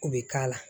U bɛ k'a la